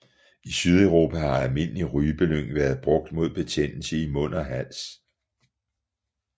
I Sydeuropa har almindelig rypelyng været brugt mod betændelse i mund og hals